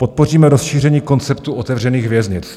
Podpoříme rozšíření konceptu otevřených věznic.